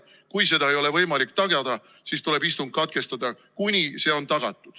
Kui seda ei ole võimalik tagada, siis tuleb istung katkestada, kuni see on tagatud.